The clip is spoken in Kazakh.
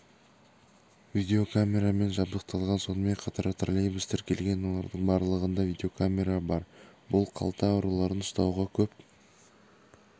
видеокамерамен жабдықталған сонымен қатар троллейбус тіркелген олардың барлығында видеокамера бар бұл қалта ұрыларын ұстауға көп